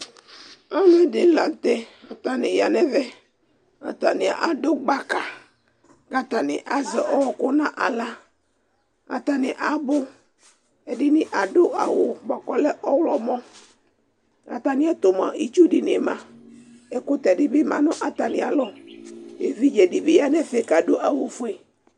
Ɔwlɩ dɩ la nʋ tɛ kʋ atanɩ ya nʋ ɛvɛ kʋ atanɩ adʋ gbaka kʋ atanɩ azɛ ɔɣɔkʋ nʋ aɣla kʋ atanɩ abʋ Ɛdɩnɩ adʋ awʋ bʋa kʋ ɔlɛ mʋ ɔɣlɔmɔ Atamɩɛtʋ mʋa, itsu dɩnɩ ma Ɛkʋtɛ dɩ bɩ ma nʋ atamɩalɔ Evidze dɩ bɩ ya nʋ ɛfɛ kʋ adʋ awʋfue